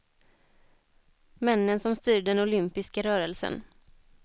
Männen som styr den olympiska rörelsen.